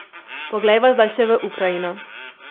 Poglejva zdaj še v Ukrajino.